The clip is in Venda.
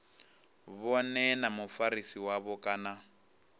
vhone na mufarisi wavho kana